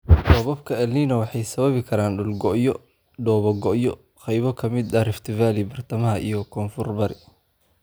Roobabka El Niño waxay sababi karaan dhul go' iyo dhoobo go'ay qaybo ka mid ah Rift Valley, Bartamaha iyo Koonfur-bari.